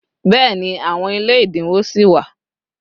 béèni, àwọn ilé idinwo si wa